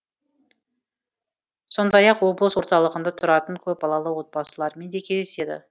сондай ақ облыс орталығында тұратын көпбалалы отбасылармен де кездеседі